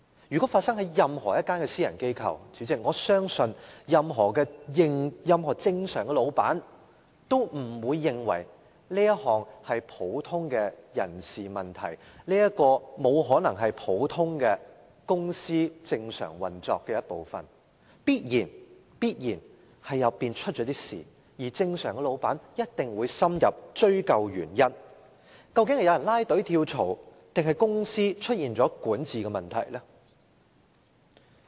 如果發生在任何一間私人機構，主席，我相信任何正常老闆都不會認為這是普通的人事問題，這不可能是普通的公司正常運作的一部分，當中必然發生了事，而正常老闆也一定會深入追究原因，究竟是有人"拉隊"跳槽，還是公司出現管治問題？